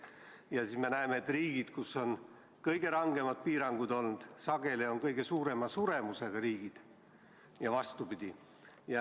Ja siis me näeme, et riigid, kus on olnud kõige rangemad piirangud, on sageli kõige suurema suremusega riigid, ja vastupidi.